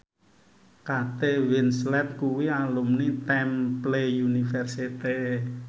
Kate Winslet kuwi alumni Temple University